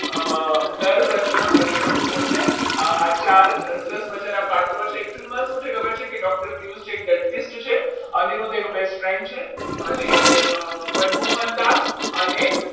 અમ નવરત્ન મણિયાઓ કોણ છે આ ચાર સરસ મજાના પાત્રો છે એમાં શું છે કે કમલ છે. doctor પિયુષ છે dentist છે અનિરુદ્ધ એનો best friend છે અને મનમોહન લાલ અને